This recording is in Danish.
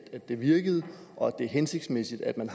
det virkede og at det er hensigtsmæssigt at man